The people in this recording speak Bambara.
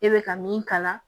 E bɛ ka min kala